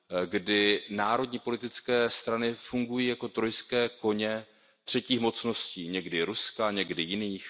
kdy národní politické strany fungují jako trojský kůň třetích mocností, někdy Ruska, někdy jiných.